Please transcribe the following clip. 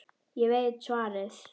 Ég veit svarið.